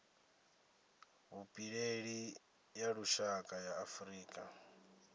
vhupileli ya lushaka ya afurika